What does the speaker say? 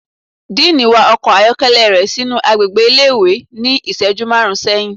Diiní wa ọkọ ayọkẹlẹ rẹ sinu agbégbé ìlé-ìwé ni iṣẹju marún sẹhin